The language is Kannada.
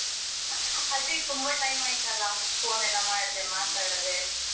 ಅದೇ ತುಂಬಾ time ಅಯಿತ್ತಲ್ಲ phone ಎಲ್ಲ ಮಾಡ್ದೆ, ಮಾತಾಡದೆ.